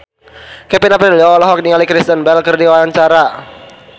Kevin Aprilio olohok ningali Kristen Bell keur diwawancara